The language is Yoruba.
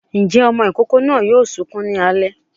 Ǹjẹ́ ọmọ ìkókó náà yóò sunkún ní alẹ́.